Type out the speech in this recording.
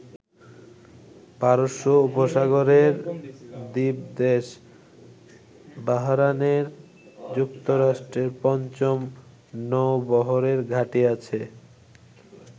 পারস্য উপসাগরের দ্বীপদেশ বাহরায়েনে যুক্তরাষ্ট্রের পঞ্চম নৌবহরের ঘাঁটি আছে।